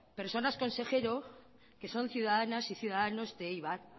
personas consejero que son ciudadanas y ciudadanos de eibar